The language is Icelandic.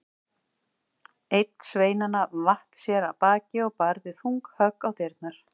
Einn sveinanna vatt sér af baki og barði þung högg á dyrnar.